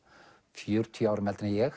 fjörutíu árum eldri en ég